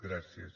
gràcies